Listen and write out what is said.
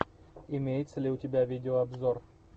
имеется ли у тебя видеообзор